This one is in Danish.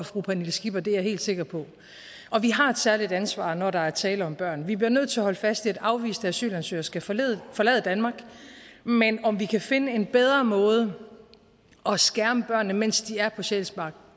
fru pernille skipper det er jeg helt sikker på og vi har et særligt ansvar når der er tale om børn vi bliver nødt til at holde fast i at afviste asylansøgere skal forlade forlade danmark men om vi kan finde en bedre måde at skærme børnene på mens de er på sjælsmark